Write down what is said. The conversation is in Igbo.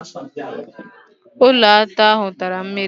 Ụlọata ahụ tara mmiri.